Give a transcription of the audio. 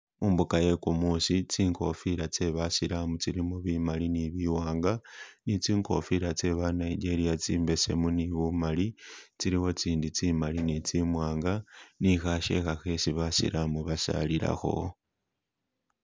Mumbuga ye gumusi tsingofila tse basilamu tsilimo bimali ni biwanga ni tsingofila tse ba Nigeria tsimbesemu ni bumali tsilimo tsindi tsimali ni tsimwanga ni khakyeka khesi basilamu basalilakho.